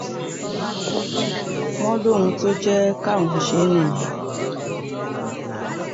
wọ́n lóhun tó jẹ́ káwọn ṣe é nìyẹn